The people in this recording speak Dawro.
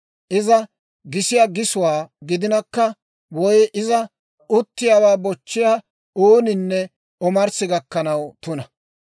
Iza gisiyaa gisuwaa gidinakka woy iza uttiyaawaa bochchiyaa ooninne omarssi gakkanaw tuna.